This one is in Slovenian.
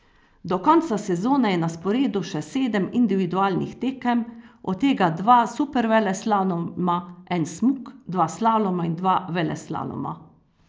Do konca sezone je na sporedu še sedem individualnih tekem, od tega dva superveleslaloma, en smuk, dva slaloma in dva veleslaloma.